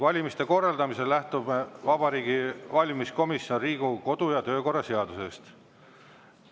Valimiste korraldamisel lähtub Vabariigi Valimiskomisjon Riigikogu kodu- ja töökorra seadusest.